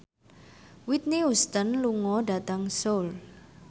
Whitney Houston lunga dhateng Seoul